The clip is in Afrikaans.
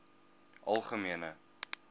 algemene